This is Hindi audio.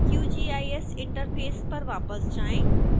qgis इंटरफेस पर वापस जाएं